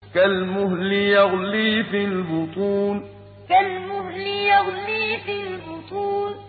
كَالْمُهْلِ يَغْلِي فِي الْبُطُونِ كَالْمُهْلِ يَغْلِي فِي الْبُطُونِ